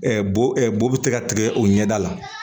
bo bɛ tɛgɛ o ɲɛda la